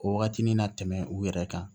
O wagati ni na tɛmɛ u yɛrɛ kan